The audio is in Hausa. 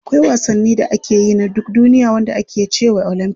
Akwai wasanni da ake yi na duk duniya wanda ake cewa olympics.